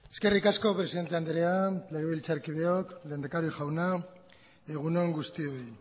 eskerrik asko presidente andrea legebiltzarkideok lehendakari jauna egun on guztioi